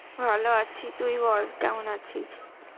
ভালো আছি তুই বল কেমন আছিস.